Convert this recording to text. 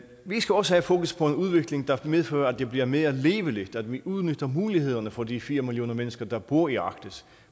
vi skal også have fokus på en udvikling der medfører at det bliver mere levende at vi udnytter mulighederne for de fire millioner mennesker der bor i arktis